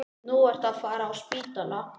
Nú ertu að fara á spítala